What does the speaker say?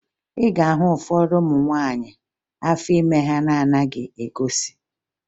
Ị ga-ahụ ụfọdụ ụmụ nwaanyị afọ ime ha na-anaghị egosi